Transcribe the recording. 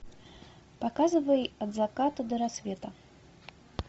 показывай от заката до рассвета